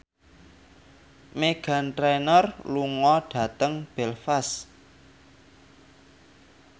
Meghan Trainor lunga dhateng Belfast